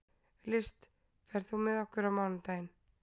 List, ferð þú með okkur á mánudaginn?